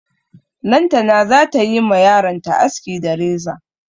Lantana za ta yi ma yaronta aski da reza.